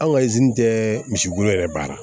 Anw ka tɛ misikolo yɛrɛ baara